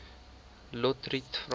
lotriet vra